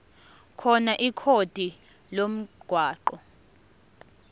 khona ikhodi lomgwaqo